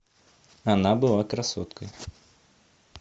она была красотка